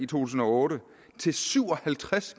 tusind og otte til syv og halvtreds